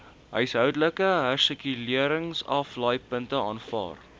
huishoudelike hersirkuleringsaflaaipunte aanvaar